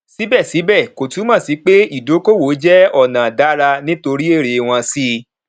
síbẹsíbẹ kò túmọ sí pé ìdíkòwò jẹ ọnà dára nítorí èrè wọn sí